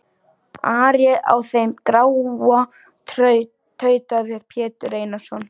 Ari á þeim gráa, tautaði Pétur Einarsson.